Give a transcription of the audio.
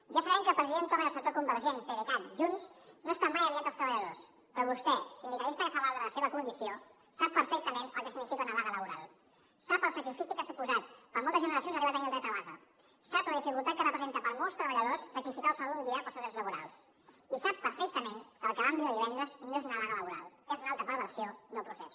ja sabem que el president torra i el sector convergent pdecat junts no estan mai aliats dels treballadors però vostè sindicalista que fa valdre la seva condició sap perfectament el que significa una vaga laboral sap el sacrifici que ha suposat per a moltes generacions arribar a tenir el dret a vaga sap la dificultat que representa per a molts treballadors sacrificar el sou d’un dia pels seus drets laborals i sap perfectament que el que vam viure divendres no és una vaga laboral és una altra perversió del procés